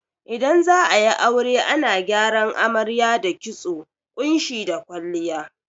Idan za'ayi aure ana gyaran amarya da kitso, ƙunshi da kwalliya